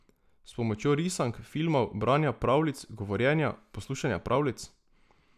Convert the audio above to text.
S pomočjo risank, filmov, branja pravljic, govorjenja, poslušanja pravljic?